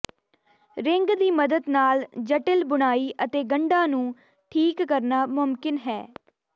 ring ਦੀ ਮਦਦ ਨਾਲ ਜਟਿਲ ਬੁਣਾਈ ਅਤੇ ਗੰਢਾਂ ਨੂੰ ਠੀਕ ਕਰਨਾ ਮੁਮਕਿਨ ਹੈ